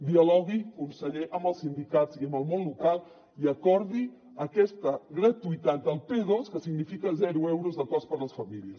dialogui conseller amb els sindicats i amb el món local i acordi aquesta gratuïtat del p2 que significa zero euros de cost per a les famílies